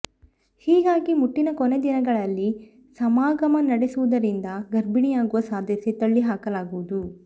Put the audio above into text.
ಹೀಗಾಗಿ ಮುಟ್ಟಿನ ಕೊನೆ ದಿನಗಳಲ್ಲಿ ಸಮಾಗಮ ನಡೆಸುವುದರಿಂದ ಗರ್ಭಿಣಿಯಾಗುವ ಸಾಧ್ಯತೆ ತಳ್ಳಿ ಹಾಕಲಾಗದು